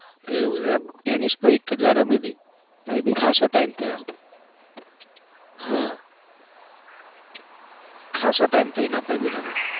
એવું એમ ટેનિસ તો એકજ વાર રમી હતી એ બી ખાસો time થયો. હા ખાસો time થયો એના પર ભી રમે